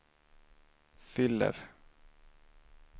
fyller